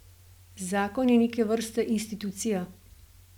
Zakon je neke vrste institucija.